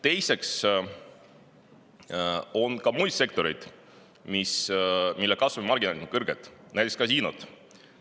Teiseks on ka muid sektoreid, mille kasumimarginaalid on kõrged, näiteks kasiinod.